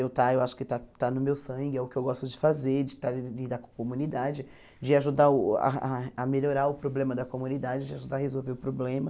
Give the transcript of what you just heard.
Eu está eu acho que está está no meu sangue, é o que eu gosto de fazer, de está lidar com a comunidade, de ajudar uh ah a melhorar o problema da comunidade, de ajudar a resolver o problema.